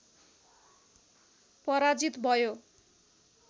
पराजित भयो